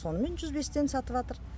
сонымен жүз бестан сатыватыр